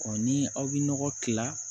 ni aw bɛ nɔgɔ tila